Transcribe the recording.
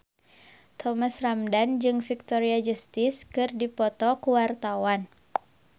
Thomas Ramdhan jeung Victoria Justice keur dipoto ku wartawan